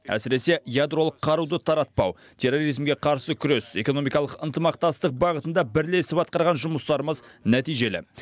әсіресе ядролық қаруды таратпау терроризмге қарсы күрес экономикалық ынтымақтастық бағытында бірлесіп атқарған жұмыстарымыз нәтижелі